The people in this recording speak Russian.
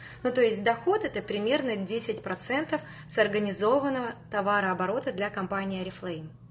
ну то есть доход это примерно десять процентов с организованного товарооборота для компании орифлейм